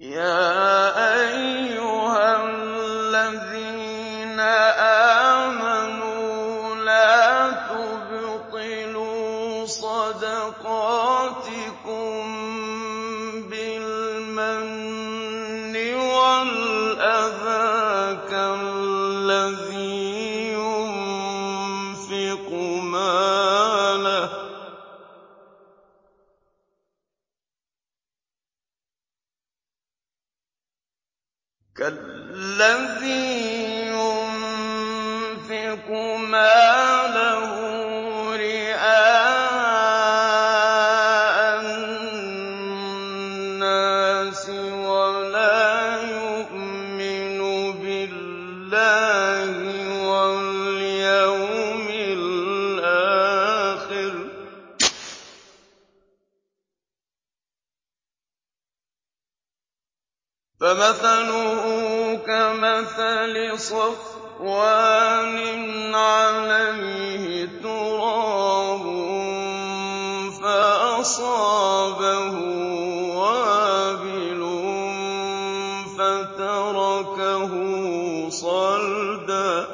يَا أَيُّهَا الَّذِينَ آمَنُوا لَا تُبْطِلُوا صَدَقَاتِكُم بِالْمَنِّ وَالْأَذَىٰ كَالَّذِي يُنفِقُ مَالَهُ رِئَاءَ النَّاسِ وَلَا يُؤْمِنُ بِاللَّهِ وَالْيَوْمِ الْآخِرِ ۖ فَمَثَلُهُ كَمَثَلِ صَفْوَانٍ عَلَيْهِ تُرَابٌ فَأَصَابَهُ وَابِلٌ فَتَرَكَهُ صَلْدًا ۖ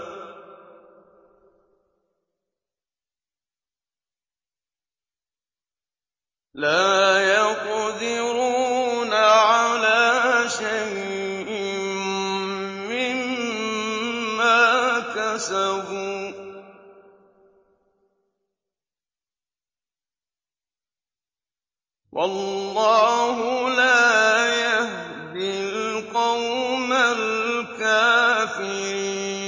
لَّا يَقْدِرُونَ عَلَىٰ شَيْءٍ مِّمَّا كَسَبُوا ۗ وَاللَّهُ لَا يَهْدِي الْقَوْمَ الْكَافِرِينَ